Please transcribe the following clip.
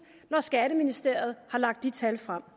når skatteministeriet har lagt de tal frem